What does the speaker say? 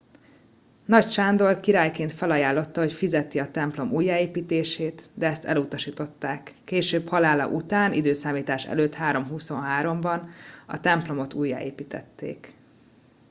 nagy sándor királyként felajánlotta hogy fizeti a templom újjáépítését de ezt elutasították később halála után i.e. 323 ban a templomot újjáépítették